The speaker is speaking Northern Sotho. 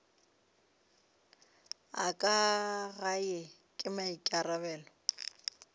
a ka gae ke maikarabelo